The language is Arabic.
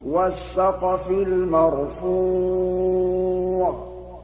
وَالسَّقْفِ الْمَرْفُوعِ